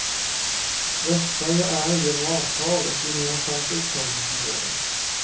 Västsverige är, genom avtal, ett gemensamt upptagningsområde.